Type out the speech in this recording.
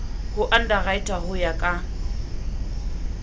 ho underwriter ho ya ka